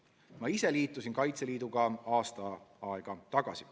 Ma ise liitusin Kaitseliiduga aasta aega tagasi.